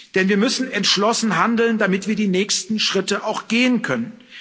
Denn wir müssen entschlossen handeln, damit wir die nächsten Schritte auch gehen können.